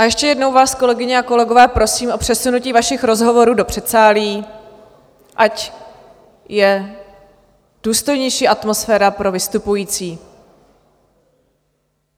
A ještě jednou vás, kolegyně a kolegové, prosím o přesunutí vašich rozhovorů do předsálí, ať je důstojnější atmosféra pro vystupující.